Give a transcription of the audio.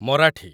Marathi